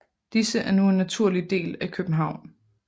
Disse er nu en naturlig del af København